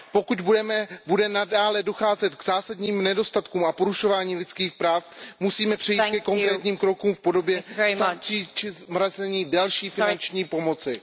Pokud bude nadále docházet k zásadním nedostatkům a k porušování lidských práv, musíme přejít ke konkrétním krokům v podobě sankcí či zmrazení další finanční pomoci.